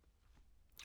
TV 2